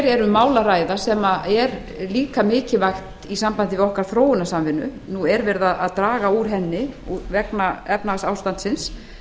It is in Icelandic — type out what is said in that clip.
um mál að ræða sem er líka mikilvægt í sambandi við okkar þróunarsamvinnu nú er verið að draga úr henni vegna efnahagsástandsins